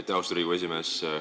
Aitäh, austatud Riigikogu esimees!